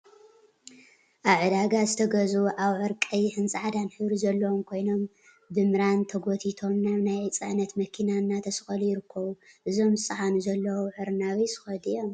አብ ዕዳጋ ዝተገዝኡ አብዑር ቀይሕን ፃዕዳን ሕብሪ ዘለዎም ኮይኖም፤ ብምራን ተጎቲቶም ናብ ናይ ፅዕነት መኪና እናተሰቀሉ ይርከቡ እዞም ዝፀዓኑ ዘለው አብዑር ናበይ ዝከዱ እዮም?